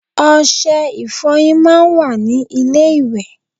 Ose ìfoyín máa n wa ní ilé ìwè